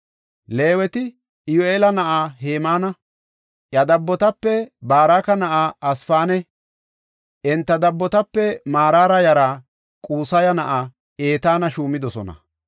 Leeweti Iyyu7eela na7aa Hemaana, iya dabbotape Baraka na7aa Asaafanne enta dabbotape Maraara yaraa Qusaya na7aa Etaana shuumidosona.